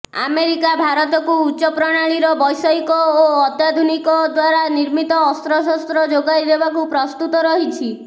America ଭାରତକୁ ଉଚ୍ଚ ପ୍ରଣାଳୀର ବୈଷୟିକ ଓ ଅତ୍ୟାଧୁନିକ ଦ୍ୱାରା ନିର୍ମିତ ଅସ୍ତ୍ରଶସ୍ତ୍ର ଯୋଗାଇଦେବାକୁ ପ୍ରସ୍ତୁତ ରହିଛି